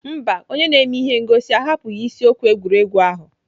Mba, onye na-eme ihe ngosi ahapụghị isiokwu egwuregwu ahụ.